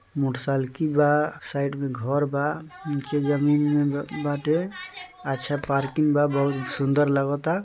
Motorcycle बा side में घर बा नीचे जमीन में बाटे अच्छा पार्किंग बा बहुत सुंदर लगता।